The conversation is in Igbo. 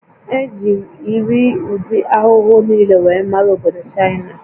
E ji irii ụdị ahụhụ niile wee mara obodo Chaịna